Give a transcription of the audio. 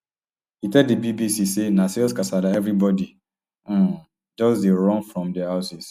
e tell di bbc say na serious kasala everibodi um just dey run from dia houses